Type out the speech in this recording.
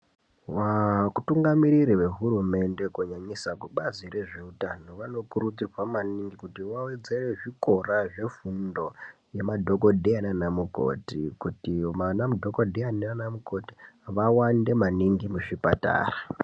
Vatungamiriri vehurumende kunyanyisa kubazi rezveutano vano kurudzirwa maningi kuti vawedzere zvikora zvefundo, yema dhokodheya naana mukoti kuti vana mudhokodheya naana mukoti vawande maningi muzvipatara.